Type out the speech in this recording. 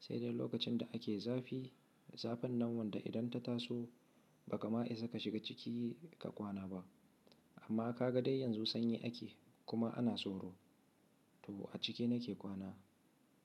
sai dai lokacin da ake zafi. Zafin nan wanda idan ta taso baka ma isa ka shiga ciki ka kwana ba. Amma ka ga dai yanzu sanyi ake kuma ana tsoro. To a ciki nake kwana.